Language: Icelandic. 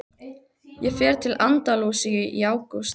Ég fer til Andalúsíu í ágúst.